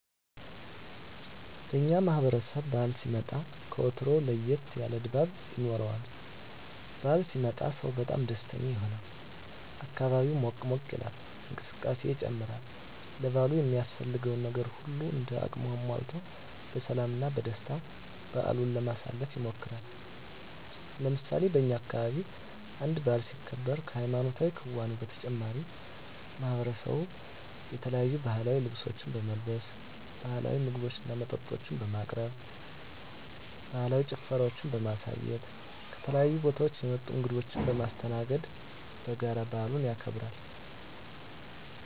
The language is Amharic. በእኛ ማህበረሰብ በዓል ሲመጣ ከወትሮው ለየት ያለ ድባብ ይኖረዋል። በዓል ሲመጣ ሰው በጣም ደስተኛ ይሆናል፣ አካባቢው ሞቅ ሞቅ ይላል፣ እንቅስቃሴ ይጨምራል፣ ለበዓሉ የሚያስፈልገውን ነገር ሁሉም እንደ አቅሙ አሟልቶ በሰላም እና በደስታ በዓሉን ለማሳለፍ ይሞክራል። ለምሳሌ በእኛ አካባቢ አንድ በዓል ሲከበር ከሀይማኖታዊ ክንዋኔው በተጨማሪ ማሕበረሰቡ የተለያዩ ባህላዊ ልብሶችን በመልበስ፣ ባህላዊ ምግቦችና መጠጦችን በማቅረብ፣ ባህላዊ ጭፈራዎችን በማሳየት፣ ከተለያዩ ቦታወች የመጡ እንግዶችን በማስተናገድ በጋራ በዓሉን ያከብራሉ።